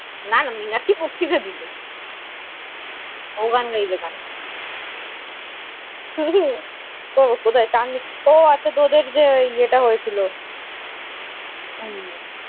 না না মীনাক্ষী বক্তিতা দিলো। ও গান গাইবে কেন? হম ওহ আচ্ছা, তোদের যে ইয়ে টা হলো।